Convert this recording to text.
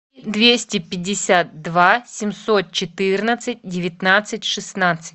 двести пятьдесят два семьсот четырнадцать девятнадцать шестнадцать